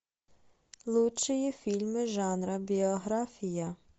лучшие фильмы жанра биография